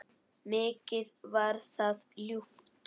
Mikið var það ljúft.